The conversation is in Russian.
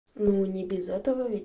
ну не без этого